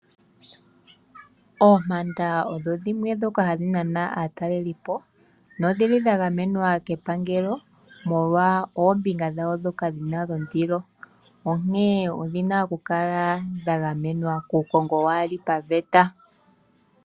Oompanda odho dhimwe dhoka hadhi nana aatalelipo nodhili dha gamenwa kepangelo molwa oombinga dhayo dhoka dhina dhondilo, onkee odhina ku kala dha gamenwa kuukongo waali paveta.